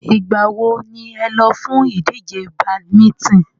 Ìgbà wo ni ẹ lọ fún ìdíje badminton?